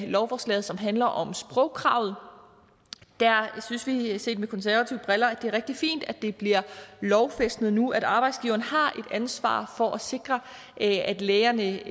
lovforslaget som handler om sprogkravet der synes vi set med konservative briller at det er rigtig fint at det bliver lovfæstet nu at arbejdsgiveren har et ansvar for at sikre at lægerne